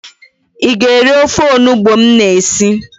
Ị ga-eri ofe onubo m na-esi